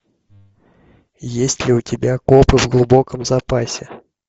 есть ли у тебя копы в глубоком запасе